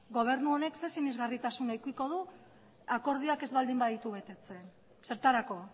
gobernu honek zer sinesgarritasun edukiko du akordioak ez baldin baditu betetzen zertarako